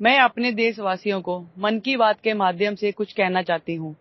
नमस्कार मैं अपने देशवासियों को मन की बात के माध्यम से कुछ कहना चाहती हूं